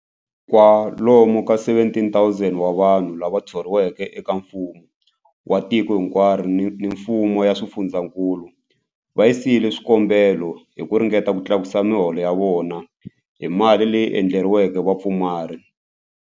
Kwalomu ka 17,000 wa vanhu lava thoriweke eka mfumo wa tiko hinkwaro ni le ka mifumo ya swifundzankulu va yisile swikombelo hi ku ringeta ku tlakusa miholo ya vona hi mali leyi endleriweke vapfumari.